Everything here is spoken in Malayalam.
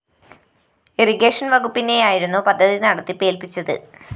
ഇറിഗേഷൻ വകുപ്പിനെയായിരുന്നു പദ്ധതി നടത്തിപ്പ് ഏല്‍പ്പിച്ചത്